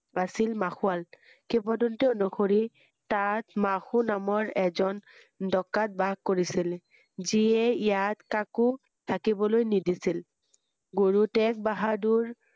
আছিল মাসুৱাল কিৎবদন্তি অনুসৰি তাত মাসু এজন ডকাইত বাস কৰিছিল যিয়ে ইয়াত কাকো থাকিবলৈ নিদিছিল গুৰু টেগ বাহাদুৰ